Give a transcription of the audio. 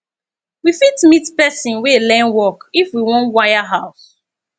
we fit meet person wey learn work if we wan wire house